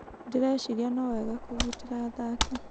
Ndĩreciria no wega kũgitĩra athaki.